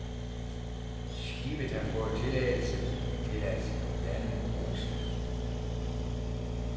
Skibet har fået tilladelse til at lande onsdag.